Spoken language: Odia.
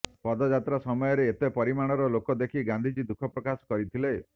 ପଦଯାତ୍ରା ସମୟରେ ଏତେ ପରିମାଣର ଲୋକଦେଖି ଗାନ୍ଧିଜୀ ଦୁଃଖ ପ୍ରକାଶ କରିଥିଲେ